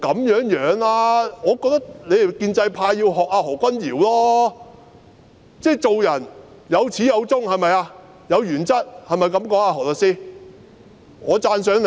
我認為你們建制派要向何君堯議員學習，做人總要有始有終，堅持原則，這樣說對嗎，何律師？